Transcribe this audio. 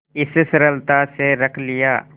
इस सरलता से रख लिया